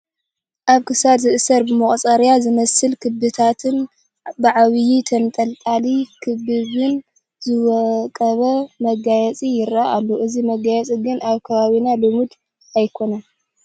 ኣብ ክሳድ ዝእሰር ብመቑፀርያ ዝመስሉ ክበባትን ብዓብዪ ተንጠልጣሊ ክበብን ዝወቀበ መጋየፂ ይርአ ኣሎ፡፡ እዚ መጋየፂ ግን ኣብ ከባብና ልሙድ ኣይኮነን፡፡